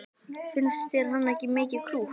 Finnst þér hann ekki mikið krútt?